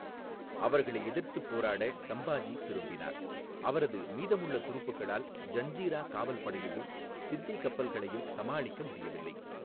அவர்களை எதிர்த்துப் போராட சம்பாஜி திரும்பினார், அவரது மீதமுள்ள துருப்புக்களால் ஜஞ்சிரா காவல் படையையும், சித்தி கப்பல்களையும் சமாளிக்க முடியவில்லை.